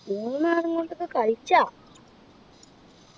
മൂന്ന് ആളെ കൊണ്ടൊക്കെ കളിക്കാ